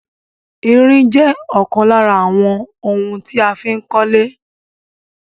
Irin jẹ́ ọ̀kan lára àwọn ohun tí a fí ń kólé